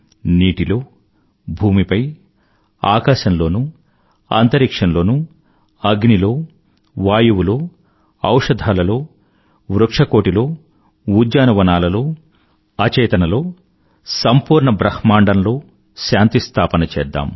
నీటిలో భూమిపై ఆకాశంలోనూ అంతరిక్ష్యం లోనూ అగ్ని లో వాయువులో ఔషధాలలో వృక్షకోటి లో ఉద్యానవనాలలో అచేతనలో సంపూర్ణ బ్రహ్మాండంలో శాంతి స్థాపన చేద్దాం